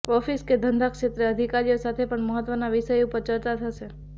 office કે ધંધા ક્ષેત્રે અધિકારીઓ સાથે પણ મહત્વના વિષયો ઉપર ચર્ચા થશે